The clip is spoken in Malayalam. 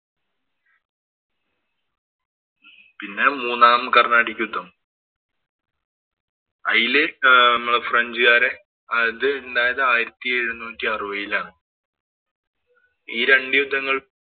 പിന്നെ മൂന്നാം കര്‍ണാട്ടിക് യുദ്ധം. അയില് നമ്മുടെ ഫ്രഞ്ചുകാരെ അത് ഇണ്ടായത് ആയിരത്തി എഴുനൂറ്റി അറുപതിലാണ്. ഈ രണ്ടു യുദ്ധങ്ങളും